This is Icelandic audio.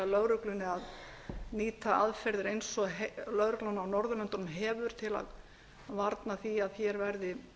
að nýta aðferðir eins og lögreglan á norðurlöndunum hefur til að varna því að hér verði